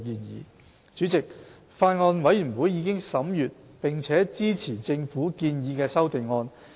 代理主席，法案委員會已審閱並支持政府建議的修正案。